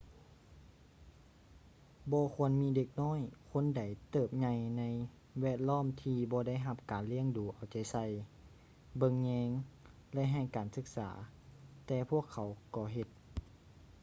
ບໍ່ຄວນມີເດັກນ້ອຍຄົນໃດເຕີບໃຫຍໃນແວດລ້ອມທີ່ບໍ່ໄດ້ຮັບການລ້ຽງດູເອົາໃຈໃສ່ ເບິ່ງແຍງ ແລະ ໃຫ້ການສຶກສາ ແຕ່ພວກເຂົາກໍເຮັດ